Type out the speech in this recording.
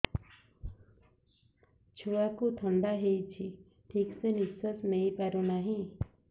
ଛୁଆକୁ ଥଣ୍ଡା ହେଇଛି ଠିକ ସେ ନିଶ୍ୱାସ ନେଇ ପାରୁ ନାହିଁ